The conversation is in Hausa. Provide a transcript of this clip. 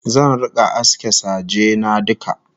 Zan rika aske saje na duka